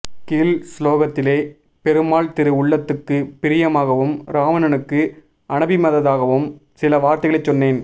கீழ் ஸ்லோகத்திலே பெருமாள் திரு உள்ளத்துக்கு பிரியமாகவும் ராவணனுக்கு அநபிமதமாகவும் சில வார்த்தைகளைச் சொன்னேன்